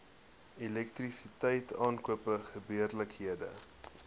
elektrisiteit aankope gebeurlikhede